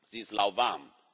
Sie ist lauwarm!